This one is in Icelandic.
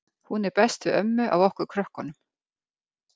Hún er best við ömmu af okkur krökkunum.